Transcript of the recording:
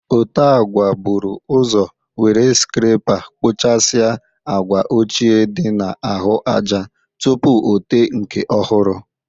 Ote agwa bụrụ ọzọ were skrepa kpụchasịa agwa ochie dị na ahụ aja tupu o te nke ọhụrụ.